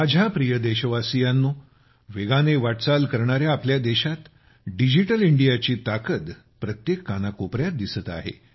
माझ्या प्रिय देशवासियांनो वेगाने वाटचाल करणाऱ्या आपल्या देशात डिजिटल इंडियाची ताकद प्रत्येक कानाकोपऱ्यात दिसत आहे